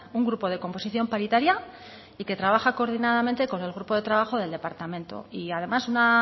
un grupo de composición paritaria y que trabaja coordinadamente con el grupo de trabajo del departamento y además una